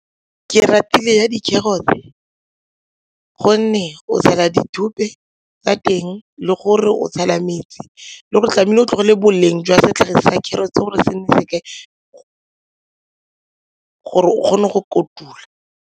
Ke ratile ya dikgerotse gonne o tshela tsa teng le gore o tshela metsi le gore tlamehile o tlogele boleng jwa setlhare sa kgerotse gore ke nne se kae gore o kgone go kotula.